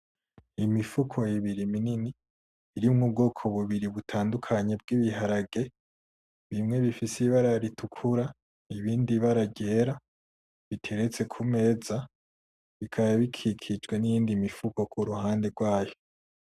Imifuko ibiri minini irimwo ubwoko bubiri butandukanye bwibiharage bimwe bifise ibara ritukura ibindi ibara ryera biteretse kumeza bikaba bikikijwe niyindi mifuko kurihande rwayo .